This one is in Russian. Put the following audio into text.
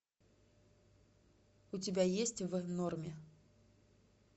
у тебя есть в норме